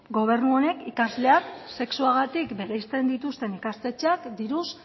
gobernu honek ikasleak sexuagatik bereizten dituzten ikastetxeak diruz